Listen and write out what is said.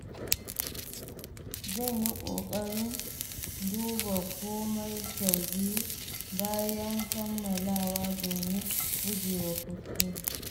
Zan yi ƙoƙarin duba komai sau biyu bayan kammalawa domin gujewa kuskure.